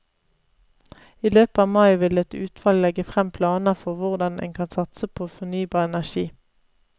I løpet av mai vil et utvalg legge frem planer for hvordan en kan satse på fornybar energi.